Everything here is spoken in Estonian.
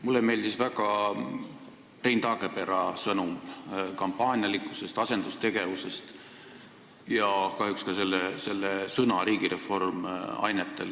Mulle meeldis väga Rein Taagepera sõnum kampaanialikkuse ja asendustegevuse kohta ning kahjuks ka selle sõna "riigireform" ainetel.